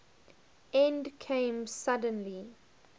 end came suddenly